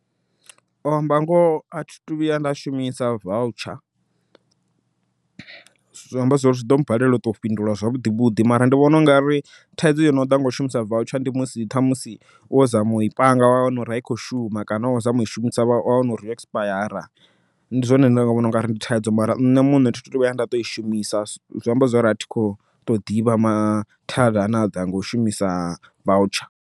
U amba ngoho athi thu vhuya nda shumisa voutsha, zwi amba zwori zwi ḓo mmbalela u ṱo fhindula zwavhuḓi vhuḓi mara ndi vhona ungari thaidzo yo no ḓa ngau shumisa voutsha ndi musi ṱhamusi wo zama ui panga wa wana uri ai khou shuma kana wavha khou zama ui shumisa wa wana uri yo ekisipayara. Ndi zwone zwine nda nga vhona ungari ndi thaidzo, mara nṋe muṋe thi thu ṱo vhuya nda ṱoi shumisa zwi amba zwori a thi kho to ḓivha mathada ane aḓa nga u shumisa vautsha.